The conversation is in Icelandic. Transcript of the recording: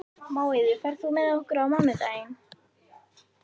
Móeiður, ferð þú með okkur á mánudaginn?